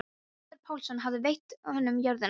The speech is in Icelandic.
Ögmundur Pálsson hafði veitt honum jörðina.